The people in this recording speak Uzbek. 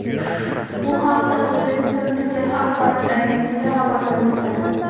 Bu haqda Uzbekistan Today axborot agentligi xabar bermoqda .